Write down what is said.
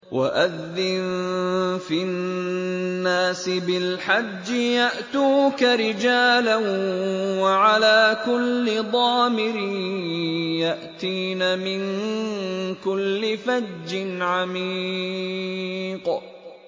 وَأَذِّن فِي النَّاسِ بِالْحَجِّ يَأْتُوكَ رِجَالًا وَعَلَىٰ كُلِّ ضَامِرٍ يَأْتِينَ مِن كُلِّ فَجٍّ عَمِيقٍ